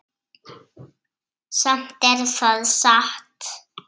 Samt er það satt.